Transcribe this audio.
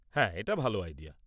হ্যাঁ, এটা ভাল আইডিয়া।